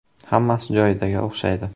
Hammasi joyidaga o‘xshaydi.